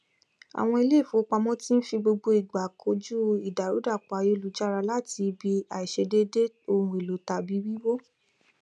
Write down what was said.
àwọn ilé ìfowópamọ ti n fi gbogbo ìgbà kojú ìdàrúdàpọ ayélujára láti ibi àìṣiṣẹ déédé ohunèlò tàbí wíwó